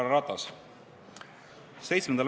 Härra Ratas!